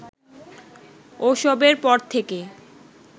ওসবের পর থেকে